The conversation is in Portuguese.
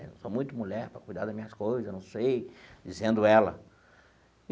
Eu sou muito mulher para cuidar das minhas coisas, não sei, dizendo ela.